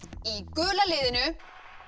gula liðinu